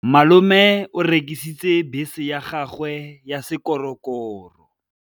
Malome o rekisitse bese ya gagwe ya sekgorokgoro.